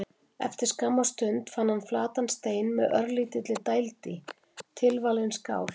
Eftir skamma stund fann hann flatan stein með örlítilli dæld í: tilvalin skál.